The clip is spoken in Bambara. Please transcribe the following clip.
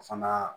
Fana